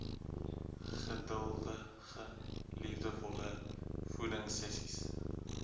geduldige liefdevolle voedingsessies